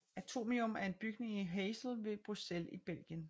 Atomium er en bygning i Heysel ved Bruxelles i Belgien